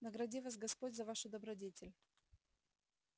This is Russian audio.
награди вас господь за вашу добродетель